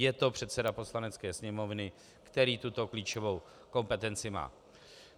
Je to předseda Poslanecké sněmovny, který tuto klíčovou kompetenci má.